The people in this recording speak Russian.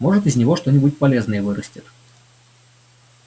может из него что-нибудь полезное вырастет